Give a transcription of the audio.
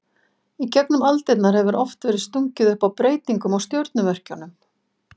Í gegnum aldirnar hefur oft verið stungið upp á breytingum á stjörnumerkjunum.